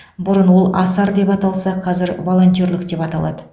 бұрын ол асар деп аталса қазір волонтерлік деп аталады